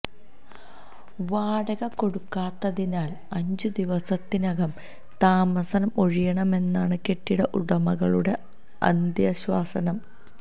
വാടക കൊടുക്കാത്തതിനാൽ അഞ്ചു ദിവസത്തിനകം താമസം ഒഴിയണമെന്നാണ് കെട്ടിട ഉടമകളുടെ അന്ത്യശാസനം